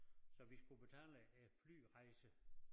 Så vi skulle betale æ flyrejse